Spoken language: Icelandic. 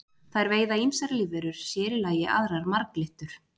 Þær veiða ýmsar lífverur, sér í lagi aðrar marglyttur.